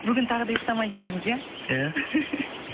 бүгін тағы да ұйықтамай келдіңіз иә иә